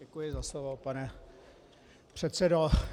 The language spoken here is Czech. Děkuji za slovo, pane předsedo.